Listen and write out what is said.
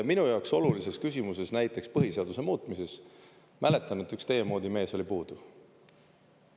Minu jaoks olulises küsimuses, näiteks põhiseaduse muutmises, mäletan, et üks teie moodi mees oli puudu.